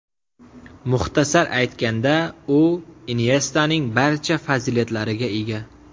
Muxtasar aytganda u Inyestaning barcha fazilatlariga ega.